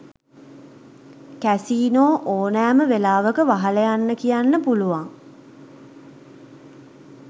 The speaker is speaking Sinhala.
කැසීනො ඕනෑම වෙලාවක වහල යන්න කියන්න පුලුවන්.